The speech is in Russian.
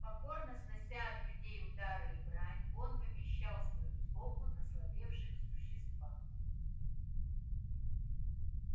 покорно снося от людей удары и брань он вымещал свою злобу на слабевших существах